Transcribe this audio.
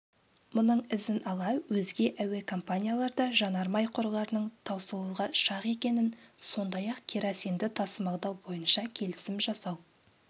мұның ізін ала өзге әуекомпанияларда жанармай қорларының таусылуға шақ екенін сондай-ақ керосинді тасымалдау бойынша келісім жасау